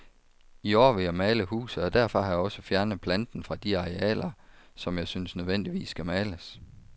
I år vil jeg male huset, og derfor har jeg også fjernet planten fra de arealer, som jeg synes nødvendigvis skal males.